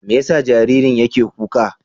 Me yasa jaririn yake kuka?